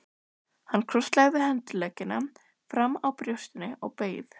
Hann krosslagði handleggina framan á brjóstinu og beið.